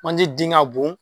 Manje den ŋa bon